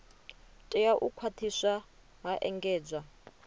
tea u khwathiswa ha engedzwa